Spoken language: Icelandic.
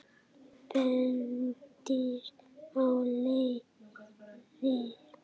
Bendir á leiðir.